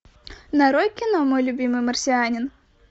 нарой кино мой любимый марсианин